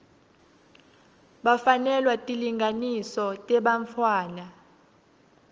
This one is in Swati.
bafanelwa tilinganiso tebantfwana